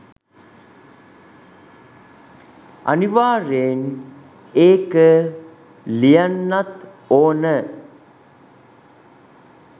අනිවාර්යයෙන් ඒක ලියන්නත් ඕන.